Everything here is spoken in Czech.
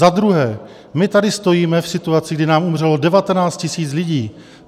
Za druhé, my tady stojíme v situaci, kdy nám umřelo 19 000 lidí.